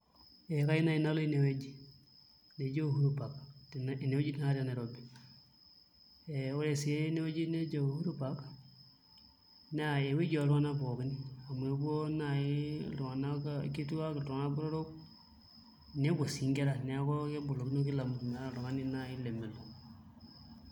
Ee kayieu naai nalo inewueji neji Uhuru Park tenewueji te Nairobi ee ore sii enewueji Uhuru Park naa ewueji oltung'anak pookin amu epuo naai iltung'anak kituaak, iltung'anak botorok nepuo sii nkera neeku kebolokino kila mtu meeta oltung'ani naai lemelo.